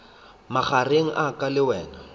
magareng a ka le wena